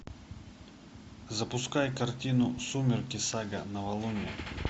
запускай картину сумерки сага новолуние